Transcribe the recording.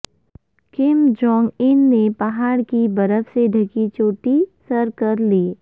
کم Jong Un نے پہاڑ کی برف سے ڈھکی چوٹی سر کر لی